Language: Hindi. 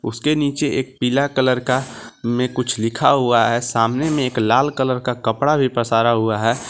उसके नीचे एक पीला कलर का में कुछ लिखा हुआ है सामने में एक लाल कलर का कपड़ा भी पसारा हुआ है।